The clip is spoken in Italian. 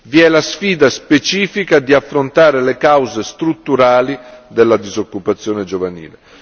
Vi è la sfida specifica di affrontare le cause strutturali della disoccupazione giovanile.